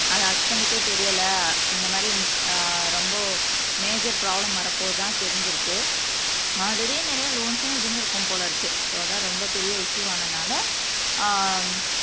அதை அஸ்பன்ட்டுக்கே தெரியல இந்த மாதிரி ஆஹ் ரொம்ப மேஜர் ப்ரோப்லம் வரப்போவதா தெரிஞ்சிருக்கு ஆல்ரெடி நிறைய லோன்ஸ்சும் இருந்திருக்கும் போல இருக்கு சோ அதான் ரொம்ப பெரிய இஸ்யூ ஆனனால ஆஹ்